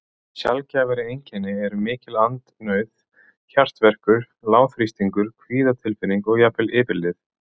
Sjaldgæfari einkenni eru mikil andnauð, hjartverkur, lágþrýstingur, kvíðatilfinning og jafnvel yfirlið.